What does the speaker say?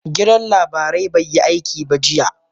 Gidan labarai bai yi aiki ba jiya